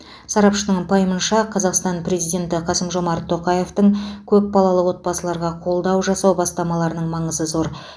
сарапшының пайымынша қазақстан президенті қасым жомарт тоқаевтың көпбалалы отбасыларға қолдау жасау бастамаларының маңызы зор